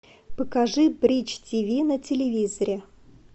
покажи бридж тв на телевизоре